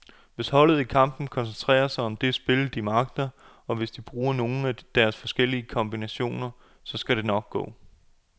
Hvis holdet i kampen koncentrerer sig om det spil, de magter, og hvis de bruger nogle af deres forskellige kombinationer, så skal det nok gå.